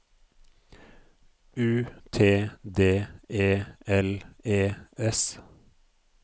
U T D E L E S